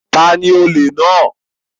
Ta ni olè náà?